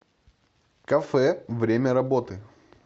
кафе время работы